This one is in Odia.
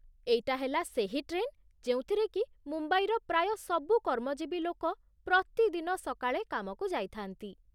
ଏଇଟା ହେଲା ସେହି ଟ୍ରେନ୍ ଯେଉଁଥିରେକି ମୁମ୍ବାଇର ପ୍ରାୟ ସବୁ କର୍ମଜୀବୀ ଲୋକ ପ୍ରତିଦିନ ସକାଳେ କାମକୁ ଯାଇଥାଆନ୍ତି ।